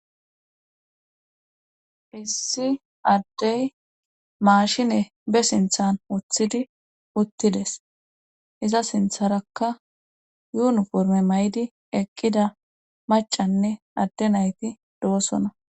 issi addey maashine be sinthan woththidi uttides iza sintharakka yuuniforme may7di eqqida macanne adde nayti do7osona